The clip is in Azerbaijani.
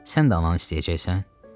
Sən də ananı istəyəcəksən?